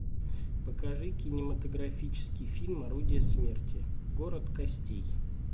покажи кинематографический фильм орудие смерти город костей